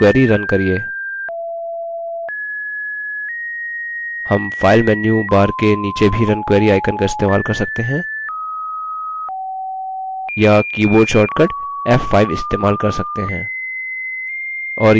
और query run करिये हम file menu bar के नीचे भी run query icon का इस्तेमाल कर सकते हैं या keyboard shortcut f5 इस्तेमाल कर सकते हैं